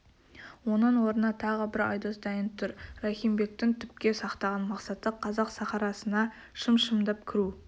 оның орнына тағы бір айдос дайын тұр рахим бектің түпке сақтаған мақсаты қазақ сахарасына шым-шымдап кіру